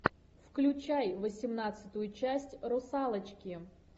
включай восемнадцатую часть русалочки